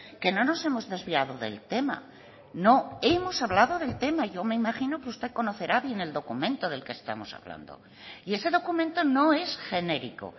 que no nos hemos desviado del tema no hemos hablado del tema yo me imagino que usted conocerá bien el documento del que estamos hablando y ese documento no es genérico